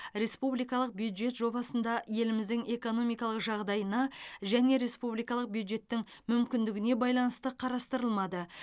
республикалық бюджет жобасында еліміздің экономикалық жағдайына және республикалық бюджеттің мүмкіндігіне байланысты қарастырылмады